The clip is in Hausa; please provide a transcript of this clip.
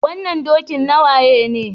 Wannan dokin waye ne?